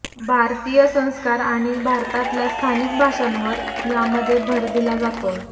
भारतीय संस्कार आणि भारतातल्या स्थानिक भाषांवर यामध्ये भर दिला जातोय